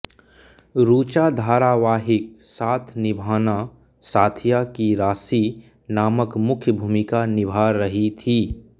रुचा धारावाहिक साथ निभाना साथिया की राशि नामक मुख्य भूमिका निभां रहीं थी